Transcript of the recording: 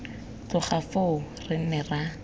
tloga foo re ne ra